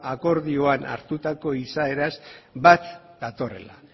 akordioan hartutako izaeraz bat datorrela